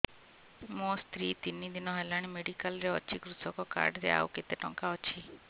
ମୋ ସ୍ତ୍ରୀ ତିନି ଦିନ ହେଲାଣି ମେଡିକାଲ ରେ ଅଛି କୃଷକ କାର୍ଡ ରେ ଆଉ କେତେ ଟଙ୍କା ଅଛି